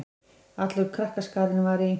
Allur krakkaskarinn var í